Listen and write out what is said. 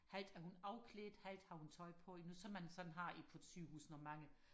halvt er hun afklædt halvt har hun tøj på nu som man sådan har på et sygehus når mange